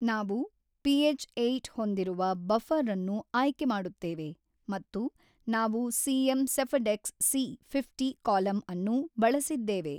ನಾವು pH eight ಹೊಂದಿರುವ buffer ಅನ್ನು ಆಯ್ಕೆ ಮಾಡುತ್ತೇವೆ ಮತ್ತು ನಾವು CM Sephadex C fifty column ಅನ್ನು ಬಳಸಿದ್ದೇವೆ.